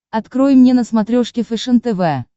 открой мне на смотрешке фэшен тв